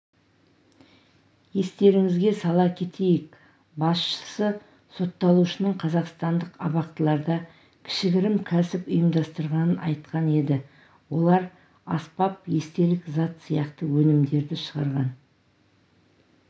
естеріңізге сала кетейік басшысы сотталушының қазақстандық абақтыларда кішігірім кәсіп ұйымдастырғанын айтқан еді олар аспап естелік зат сияқты өнімдерді шығарған